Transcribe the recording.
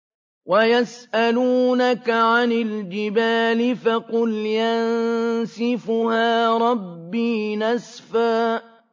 وَيَسْأَلُونَكَ عَنِ الْجِبَالِ فَقُلْ يَنسِفُهَا رَبِّي نَسْفًا